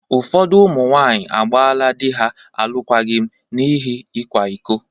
Ụfọdụ ụmụ nwaanyị agbaala di ha alụkwaghịm n’ihi ịkwa iko.